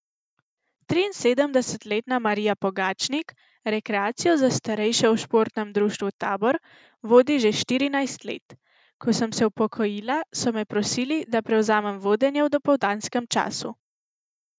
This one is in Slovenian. Triinsedemdesetletna Marija Pogačnik rekreacijo za starejše v športnem društvu Tabor vodi že štirinajst let: "Ko sem se upokojila, so me prosili, da prevzamem vodenje v dopoldanskem času.